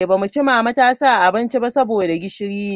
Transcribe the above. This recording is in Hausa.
Ba mu ci mama ta sa abinci ba saboda gishiri ne.